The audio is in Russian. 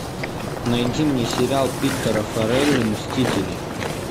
найди мне сериал питера форели мстители